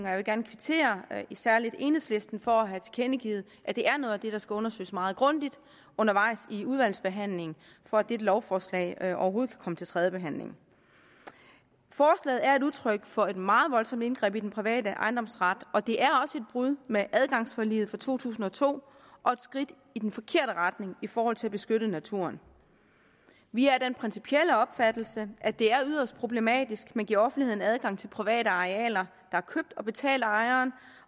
jeg vil gerne kvittere særlig enhedslisten for at have tilkendegivet at det er noget af det der skal undersøges meget grundigt undervejs i udvalgsbehandlingen for at dette lovforslag overhovedet kan komme til tredjebehandling forslaget er udtryk for et meget voldsomt indgreb i den private ejendomsret og det er også et brud med adgangsforliget fra to tusind og to og et skridt i den forkerte retning i forhold til at beskytte naturen vi er af den principielle opfattelse at det er yderst problematisk at man giver offentligheden adgang til private arealer der er købt og betalt af ejeren